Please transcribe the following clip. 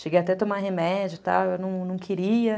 Cheguei até a tomar remédio, tal, eu não queria.